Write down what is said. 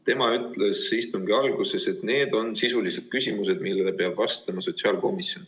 Tema ütles istungi alguses, et need on sisulised küsimused, millele peab vastama sotsiaalkomisjon.